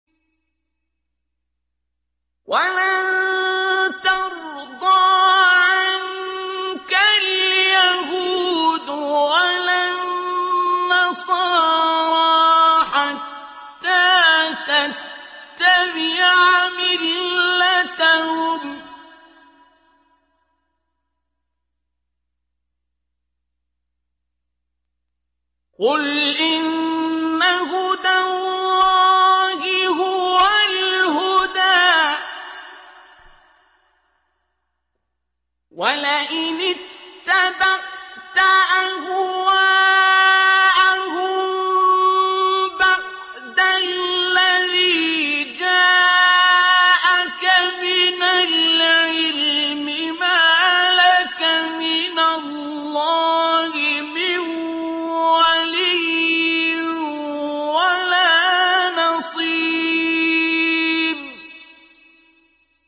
وَلَن تَرْضَىٰ عَنكَ الْيَهُودُ وَلَا النَّصَارَىٰ حَتَّىٰ تَتَّبِعَ مِلَّتَهُمْ ۗ قُلْ إِنَّ هُدَى اللَّهِ هُوَ الْهُدَىٰ ۗ وَلَئِنِ اتَّبَعْتَ أَهْوَاءَهُم بَعْدَ الَّذِي جَاءَكَ مِنَ الْعِلْمِ ۙ مَا لَكَ مِنَ اللَّهِ مِن وَلِيٍّ وَلَا نَصِيرٍ